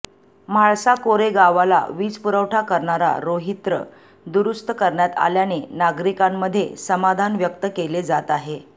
म्हाळसाकोरे गावाला वीजपुरवठा करणारा रोहित्र दुरुस्त करण्यात आल्याने नागरिकांमध्ये समाधान व्यक्त केले जात आहे